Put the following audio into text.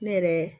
Ne yɛrɛ